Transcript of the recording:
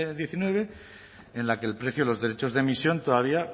diecinueve en la que el precio de los derechos de emisión todavía